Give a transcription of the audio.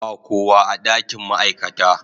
Ba kowa a dakin ma'aikata.